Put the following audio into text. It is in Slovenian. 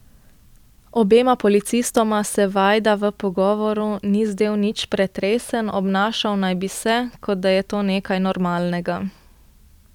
Obema policistoma se Vajda v pogovoru ni zdel nič pretresen, obnašal naj bi se, kot da je to nekaj normalnega.